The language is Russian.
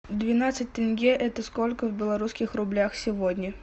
двенадцать тенге это сколько в белорусских рублях сегодня